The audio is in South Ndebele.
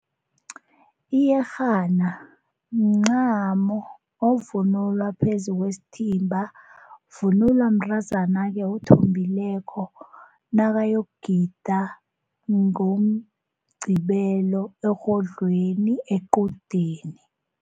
Iyerhana mncamo ovunulwa phezu kwesithimba, sivunulwa mntazana-ke othombileko nakayokugida ngoMgqibelo erhodlweni equdeni.